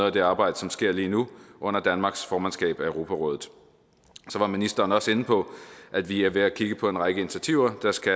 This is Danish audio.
af det arbejde som sker lige nu under danmarks formandskab af europarådet ministeren var også inde på at vi er ved at kigge på en række initiativer der skal